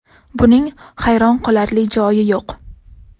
Buning hayron qolarli joyi yo‘q.